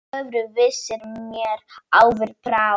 Öðru vísi mér áður brá.